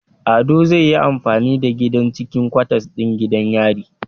Ado zai yi amfani da gidan cikin kwatas din gidan yari